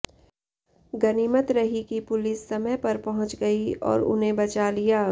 गनीमत रही कि पुलिस समय पर पहुंच गई और उन्हें बचा लिया